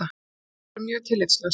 Lífið getur verið mjög tillitslaust.